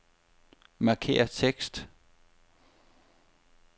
Markér tekst.